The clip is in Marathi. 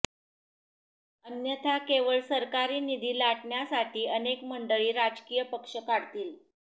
अन्यथा केवळ सरकारी निधी लाटण्यासाठी अनेक मंडळी राजकीय पक्ष काढतील